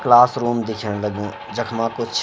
क्लासरूम दिखेंण लगीं जखमा कुछ ।